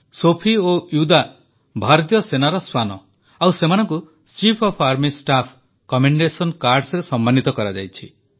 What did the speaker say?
ସୋଫି ଓ ୱିଦା ଭାରତୀୟ ସେନାର ଶ୍ୱାନ ଓ ସେମାନଙ୍କୁ chief of army staff commendation Cardsରେ ସମ୍ମାନିତ କରାଯାଇଛି